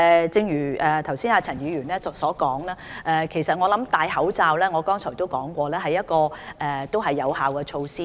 正如陳議員剛才所說，而我也有提過，就是戴口罩是有效的預防措施。